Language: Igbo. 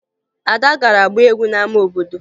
Ada gara gbaa egwu n'ama obodo